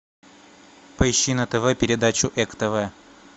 поищи на тв передачу эк тв